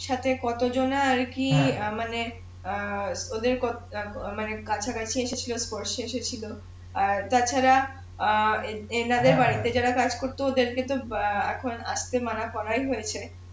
সাথে কত জন আর কি অ্যাঁ মানে অ্যাঁ ওদের ক অ্যাঁ মানে কাছা কাছি এসে স্পর্শে এসেছিলো আর তাছাড়া অ্যাঁ যারা কাজ করতো ওদের কে তো অ্যাঁ এখন আসতে মানা করাই হয়েছে